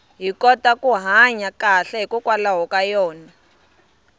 hi kota ku hanya kahle hikwalaho ka yona